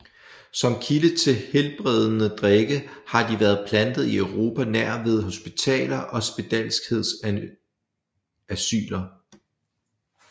Som kilde til helbredende drikke har de været plantet i Europa nær ved hospitaler og spedalskhedsasyler